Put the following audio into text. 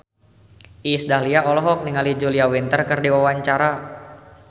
Iis Dahlia olohok ningali Julia Winter keur diwawancara